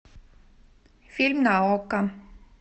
фильм на окко